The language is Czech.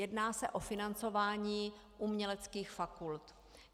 Jedná se o financování uměleckých fakult.